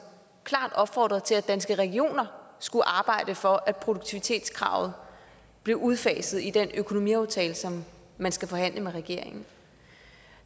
klart opfordrede til at danske regioner skulle arbejde for at produktivitetskravet blev udfaset i den økonomiaftale som man skal forhandle med regeringen